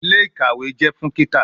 Ile-ikawe jẹ fun kika